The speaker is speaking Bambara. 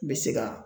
N bɛ se ka